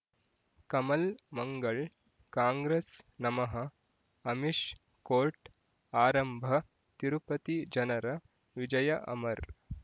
ಕಮಲ್ ಮಂಗಳ್ ಕಾಂಗ್ರೆಸ್ ನಮಃ ಅಮಿಷ್ ಕೋರ್ಟ್ ಆರಂಭ ತಿರುಪತಿ ಜನರ ವಿಜಯ ಅಮರ್